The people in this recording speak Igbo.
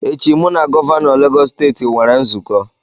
Echi, mu na Gọvanọ Lagos steeti were nzuko